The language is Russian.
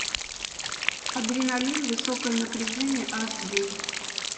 адреналин высокое напряжение аш ди